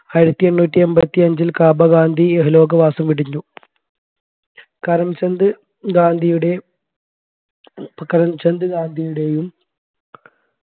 ആയിരത്തി എണ്ണൂറ്റി എൺപത്തി അഞ്ചിൽ കാബ ഗാന്ധി ഇഹലോകവാസം വെടിഞ്ഞു കരംചന്ദ് ഗാന്ധിയുട കരംചന്ദ് ഗാന്ധിയുടെയും